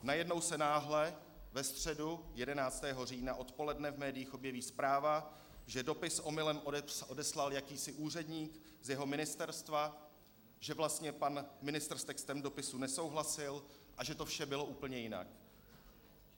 Najednou se náhle ve středu 11. října odpoledne v médiích objeví zpráva, že dopis omylem odeslal jakýsi úředník z jeho ministerstva, že vlastně pan ministr s textem dopisu nesouhlasil a že to vše bylo úplně jinak.